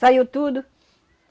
Saiu tudo.